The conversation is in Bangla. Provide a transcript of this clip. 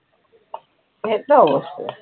খেয়েছো?